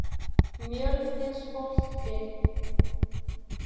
Mjölnisholti